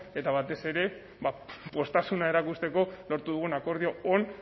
eta batez ere poztasuna erakusteko lortu dugun akordio on